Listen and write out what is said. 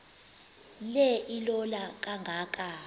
le ilola kangaka